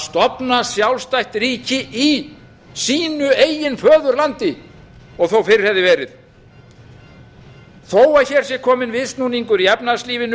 stofna sjálfstætt ríki í sínu eigin föðurlandi og þó fyrr hefði verið þó hér sé kominn viðsnúningur í efnahagslífinu